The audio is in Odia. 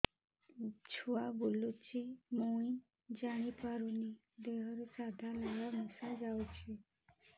ଛୁଆ ବୁଲୁଚି ମୁଇ ଜାଣିପାରୁନି ଦେହରୁ ସାଧା ଲାଳ ମିଶା ଯାଉଚି